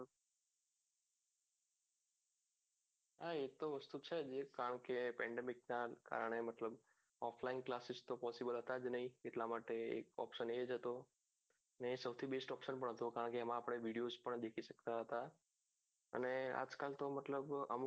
હા એતો વસ્તુ છે મતલબ offline classes તો possible હતો જ નઈ option એજ હતો અને સૌથી best option કારણ કે આપણે videos પણ દેખી શકતા હતા અને આજ કાલ તો મતલબ અમુક